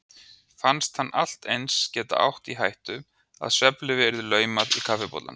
Fannst hann allt eins geta átt í hættu að svefnlyfi yrði laumað í kaffibollann.